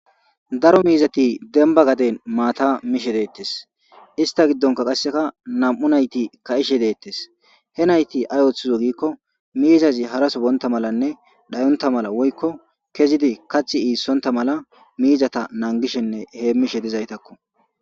daro miizati demba gaden maata mishe deettes ista giddonka qasseka nam7u nayti ka7ishe deettes he nayti ay ooththizo giikko miizazi haraso boonta malanne dhayonta mala woykko kezidi kathi iissonta mala miizata nangishenne hee mishe dizaytakko